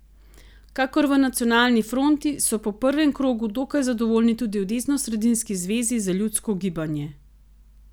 Kakor v Nacionalni fronti so po prvem krogu dokaj zadovoljni tudi v desnosredinski Zvezi za ljudsko gibanje.